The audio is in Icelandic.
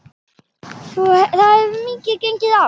Það hefur mikið gengið á.